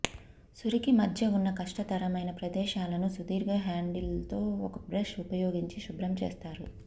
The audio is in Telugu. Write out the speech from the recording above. సురికి మధ్య ఉన్న కష్టతరమైన ప్రదేశాలను సుదీర్ఘ హ్యాండిల్తో ఒక బ్రష్ ఉపయోగించి శుభ్రం చేస్తారు